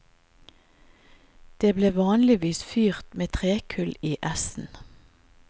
Det ble vanligvis fyrt med trekull i essen.